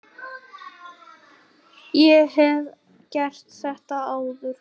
Ég hef gert þetta áður.